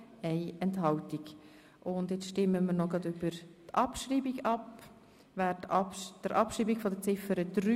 Nun stimmen wir über die Abschreibung von Ziffer 3 ab.